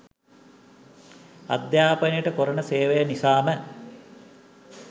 අධ්‍යාපනයට කොරන සේවය නිසාම